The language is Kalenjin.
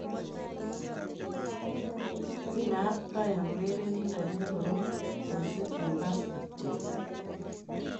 Kinaat Bryant urerenindet ne korom miising eng basketball